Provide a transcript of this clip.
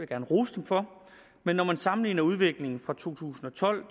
gerne rose dem for men når man sammenligner udviklingen i to tusind og tolv